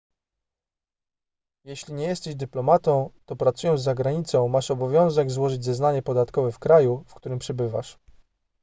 jeśli nie jesteś dyplomatą to pracując za granicą masz obowiązek złożyć zeznanie podatkowe w kraju w którym przebywasz